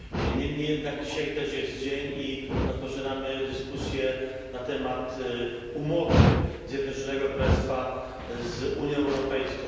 Niemniej jednak dzisiaj też jest dzień i rozpoczynamy dyskusję na temat umowy Zjednoczonego Królestwa z Unią Europejską.